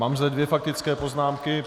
Mám zde dvě faktické poznámky.